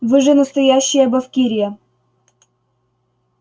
вы же настоящая бавкирия